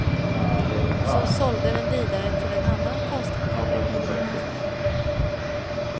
Som sålde den vidare till en annan konsthandlare. punkt